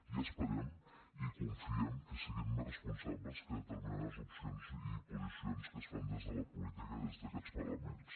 i esperem i confiem que siguin més responsables que determinades opcions i posicions que es fan des de la política des d’aquests parlaments